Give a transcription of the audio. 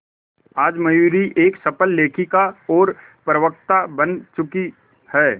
आज मयूरी एक सफल लेखिका और प्रवक्ता बन चुकी है